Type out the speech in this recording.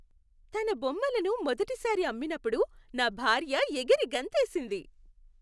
తన బొమ్మలను మొదటిసారి అమ్మినప్పుడు నా భార్య ఎగిరి గంతేసింది.